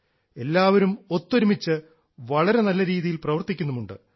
എല്ലാവരും ഒത്തൊരുമിച്ച് വളരെ നല്ലരീതിയിൽ പ്രവർത്തിക്കുന്നുമുണ്ട്